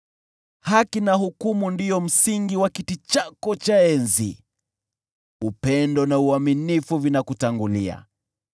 Haki na hukumu ndio msingi wa kiti chako cha enzi; upendo na uaminifu vinakutangulia.